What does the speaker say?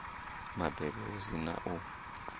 mabebo hu si na u